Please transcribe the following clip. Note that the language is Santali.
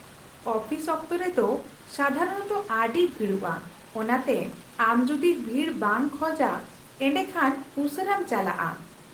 ᱟᱹᱯᱷᱤᱥ ᱚᱠᱛᱚᱨᱮ ᱫᱚ ᱥᱟᱫᱷᱟᱨᱚᱱᱚᱛᱚ ᱟᱹᱰᱤ ᱵᱷᱤᱲᱚᱜᱼᱟ, ᱚᱱᱟᱛᱮ ᱟᱢ ᱡᱩᱫᱤ ᱵᱷᱤᱲ ᱵᱟᱝ ᱠᱷᱚᱡᱟ, ᱮᱰᱮᱠᱷᱟᱱ ᱩᱥᱟᱹᱨᱟᱢ ᱪᱟᱞᱟᱜᱼᱟ ᱾